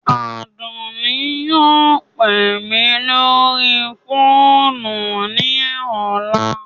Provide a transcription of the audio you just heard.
Adunni yóò pe mi lori foonu ni ọla